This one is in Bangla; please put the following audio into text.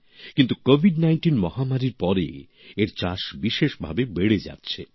কিন্তু কোভিড নাইনটিন মহামারীর পরে এর চাষ বিশেষভাবে বেড়ে যাচ্ছে